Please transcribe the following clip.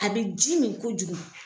A be ji min kojugu